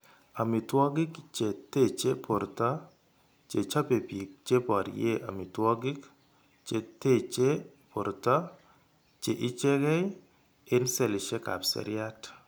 Amitwogik che teche borto che chope bik che borye amitwogik che teche borto che ichegee eng' selishekab seriat.